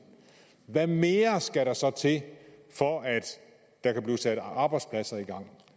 hvad mere skal der så til for at der kan blive sat arbejdspladser i gang